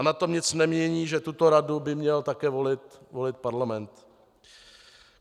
A na tom nic nemění, že tuto radu by měl také volit parlament.